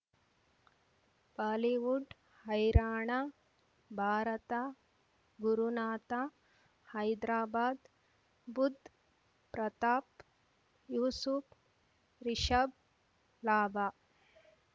Bollywood ಹೈರಾಣ ಭಾರತ ಗುರುನಾಥ ಹೈದ್ರಾಬಾದ್ ಬುಧ್ ಪ್ರತಾಪ್ ಯೂಸುಫ್ ರಿಷಬ್ ಲಾಭ